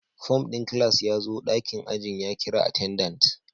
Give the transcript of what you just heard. Form din class ya zo dakin ajin ya kira attendant